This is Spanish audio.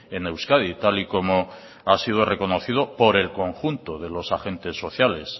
en euskadi tal y como ha sido reconocido por el conjunto de los agentes sociales